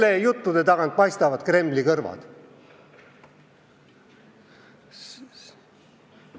Kelle juttude tagant paistavad Kremli kõrvad?